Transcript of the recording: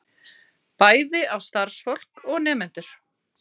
Bæði á starfsfólk og nemendur